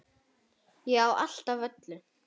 Ég á allt af öllu!